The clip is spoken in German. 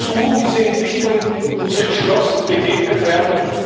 Er nimmt zu, dieser Entwicklung muss entschlossen begegnet werden.